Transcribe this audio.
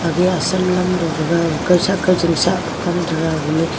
age Assam lam tohga kuo sak ka chim sak koh kam taiga agemi.